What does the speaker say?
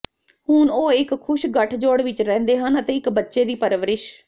ਹੁਣ ਉਹ ਇੱਕ ਖੁਸ਼ ਗਠਜੋੜ ਵਿਚ ਰਹਿੰਦੇ ਹਨ ਅਤੇ ਇੱਕ ਬੱਚੇ ਦੀ ਪਰਵਰਿਸ਼